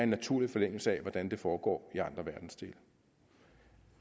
naturlig forlængelse af hvordan det foregår i andre verdensdele